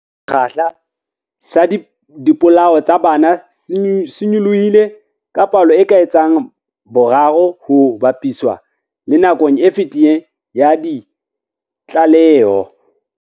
Sekgahla sa dipolao tsa bana se nyolohile ka palo e ka etsang boraro ha ho ba piswa le nakong e fetileng ya ditlaleho.